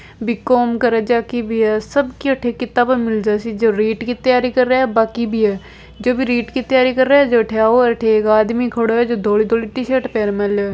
BCom करे च जकी भी है सबकी अठे किताबा मिलजासी जो रीट की तैयारी करे बांकी भी है जो रीट की तैयारी करे जो अठे आओ अठे एक आदमी खड़ो है जो धोली धोली टी शर्ट पेर मेल्यो है।